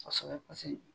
Kosɛbɛ paseke